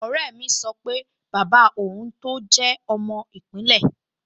Ọ̀rẹ́ mi sọ pé bàbá òun tọ́ jẹ́ ọmọ ìpínlẹ̀